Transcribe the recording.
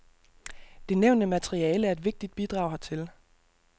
Det nævnte materiale er et vigtigt bidrag hertil.